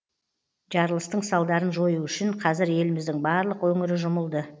жарылыстың салдарын жою үшін қазір еліміздің барлық өңірі жұмылды